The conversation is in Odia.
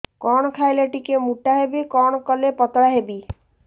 କଣ ଖାଇଲେ ଟିକେ ମୁଟା ହେବି କଣ କଲେ ପତଳା ହେବି